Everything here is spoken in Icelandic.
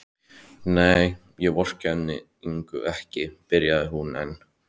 Nei, ég vorkenndi Ingu ekki, byrjar hún enn.